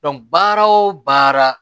baara o baara